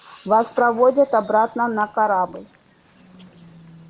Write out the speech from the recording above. вас проводят обратно на корабль